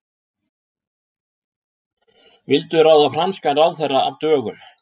Vildu ráða franskan ráðherra af dögum